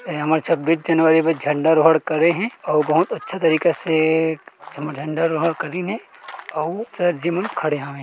ए हमर छब्बीस जनवरी मे झण्डा रोहण करे हे अऊ बहुत अच्छा तरीका से जेमा झंडा रोहन करिसे अऊ सर जी मन खड़े हेवय ।